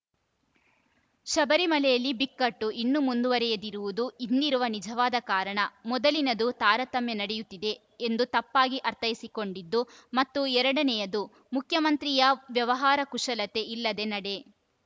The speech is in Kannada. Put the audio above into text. ಶಬರಿಮಲೆಯಲ್ಲಿ ಬಿಕ್ಕಟ್ಟು ಇನ್ನೂ ಮುಂದುವರೆಯದಿರುವುದು ಹಿಂದಿರುವ ನಿಜವಾದ ಕಾರಣ ಮೊದಲಿನದು ತಾರತಮ್ಯ ನಡೆಯುತ್ತಿದೆ ಎಂದು ತಪ್ಪಾಗಿ ಅರ್ಥೈಸಿಕೊಂಡಿದ್ದು ಮತ್ತು ಎರಡನೆಯದು ಮುಖ್ಯಮಂತ್ರಿಯ ವ್ಯವಹಾರಕುಶಲತೆ ಇಲ್ಲದ ನಡೆ